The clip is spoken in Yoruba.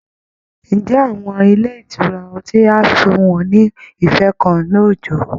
Ǹjẹ́ àwọn ilé ìtura ọtí á fún wọn ní ife kan lóójọ̀ọ́?